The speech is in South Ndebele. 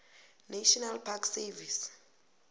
national park service